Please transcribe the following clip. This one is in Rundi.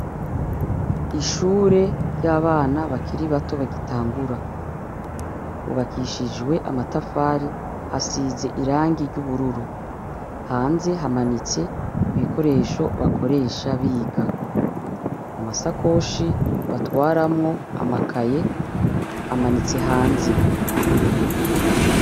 Ishure ry'abana bakiri bato bagitangura, hubakishijwe amatafari hasize irangi ry'ubururu, hanze hamanitse ibikoresho bakoresha biga, amasakoshi batwaramwo amakaye amanitse hanze .